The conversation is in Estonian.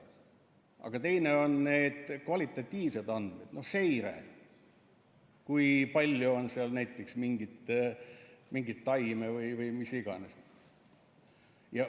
Aga teine on need kvalitatiivsed andmed, seire, kui palju on seal näiteks mingit taime või mida iganes.